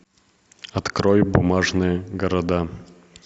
открой бумажные города